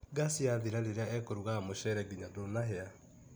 Gaci yathira rĩrĩa ekũrugaga mũcere nginya ndũnahĩa